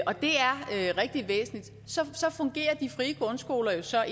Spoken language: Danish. og det er rigtig væsentligt så fungerer de frie grundskoler så